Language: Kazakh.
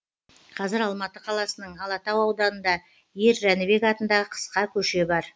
қазір алматы қаласының алатау ауданында ер жәнібек атындағы қысқа көше бар